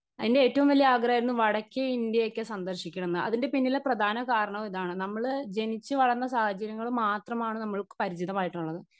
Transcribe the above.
speaker 1